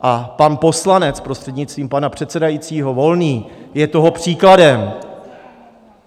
A pan poslanec, prostřednictvím pana předsedajícího, Volný je toho příkladem.